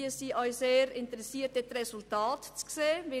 Wir sind auf die entsprechenden Resultate sehr gespannt.